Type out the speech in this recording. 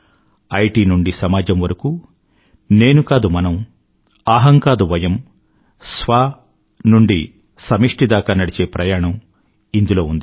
IT నుండి సమాజం వరకూ నేను కాదు మనం అహం కాదు వయం స్వ నుండి సమిష్టి దాకా నడిచే ప్రయాణం ఇందులో ఉంది